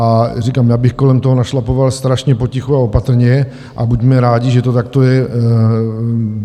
A říkám, já bych kolem toho našlapoval strašně potichu a opatrně a buďme rádi, že to takto je.